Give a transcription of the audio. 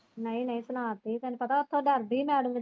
ਨਹੀਂ ਨਹੀਂ ਸੁਣਾਤੀ ਤੈਨੂੰ ਪਤਾ ਉਤੋਂ ਡਰਦੀ ਨਾਲੇ।